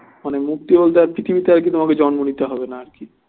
মানে মুক্তি বলতে আর পৃথিবীতে আর কি তোমার জন্ম নিতে হবে না আর কি